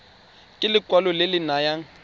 ke lekwalo le le nayang